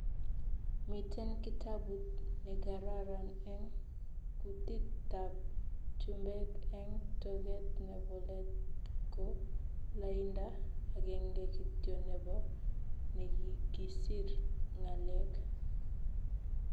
Miten kitabut negararan eng kutit tab chumbek eng toget nebo let ko lainda agenge kityo nebo nekigisir ngalek